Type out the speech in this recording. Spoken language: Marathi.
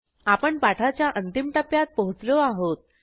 आपण पाठाच्या अंतिम टप्प्यात पोचलो आहोत